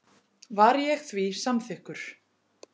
Var ég því samþykkur.